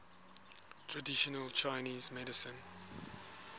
traditional chinese medicine